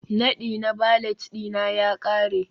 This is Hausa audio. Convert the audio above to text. Nadi na valet ɗina ya ƙare